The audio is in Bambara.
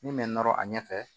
Min bɛ nɔrɔ a ɲɛfɛ